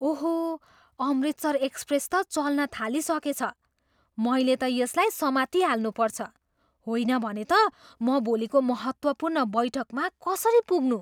ओहो! अमृतसर एक्सप्रेस त चल्न थालिसकेछ। मैले त यसलाई समातिहाल्नु पर्छ। होइन भने त म भोलिको महत्त्वपूर्ण बैठकमा कसरी पुग्नु?